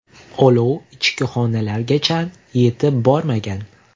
Olov ichki xonalargacha yetib bormagan.